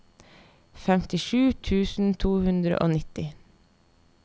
femtisju tusen to hundre og nitti